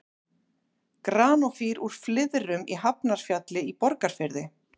Granófýr úr Flyðrum í Hafnarfjalli í Borgarfirði.